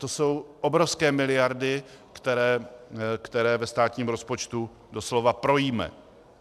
To jsou obrovské miliardy, které ve státním rozpočtu doslova projíme.